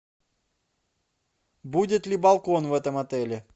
будет ли балкон в этом отеле